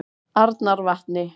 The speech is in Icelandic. Arnarvatni